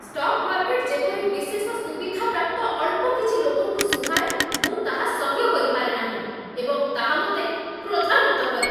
stock market ଯେପରି ବିଶେଷ ସୁବିଧାପ୍ରାପ୍ତ ଅଳ୍ପ କିଛି ଲୋକଙ୍କୁ ସୁହାଏ, ମୁଁ ତାହା ସହ୍ୟ କରିପାରେ ନାହିଁ ଏବଂ ତାହା ମୋତେ କ୍ରୋଧାନ୍ୱିତ କରେ